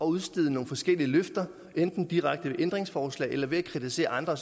udstede nogle forskellige løfter enten direkte ved ændringsforslag eller ved at kritisere andre